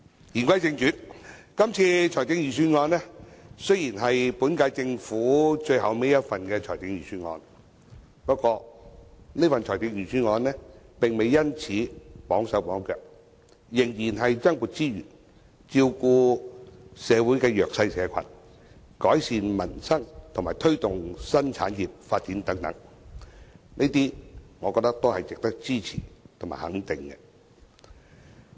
言歸正傳，今次的財政預算案雖是本屆政府的最後一份，不過，這份財政預算案並未因而"綁手綁腳"，仍然增撥資源，照顧社會的弱勢社群，改善民生及推動新產業發展等，我覺得這些都是值得支持和肯定。